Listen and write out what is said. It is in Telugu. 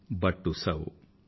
but to serve